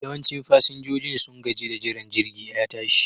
Yawancin fasinjojin sun gaji da jiran jirgin ya tashi